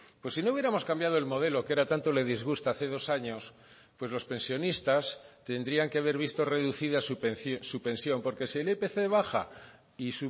pues si no hubiéramos cambiado el modelo que ahora tanto le disgusta hace dos años pues los pensionistas tendrían que haber visto reducidas su pensión porque si el ipc baja y